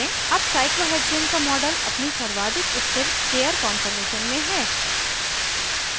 अब cyclohexane का model अपनी सर्वाधिक स्थिर चेयर कान्फॉर्मेशन में है